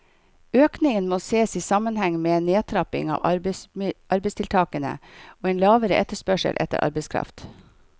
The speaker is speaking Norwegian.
Økningen må ses i sammenheng med en nedtrapping av arbeidsmarkedstiltakene og en lavere etterspørsel etter arbeidskraft.